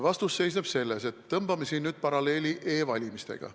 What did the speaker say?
Vastus seisneb selles, et tõmbame nüüd paralleeli e-valimistega.